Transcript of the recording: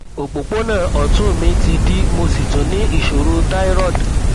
òpópónà ọtún mi ti dí mo sì tún ní ìṣòro thyroid